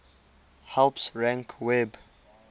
helps rank web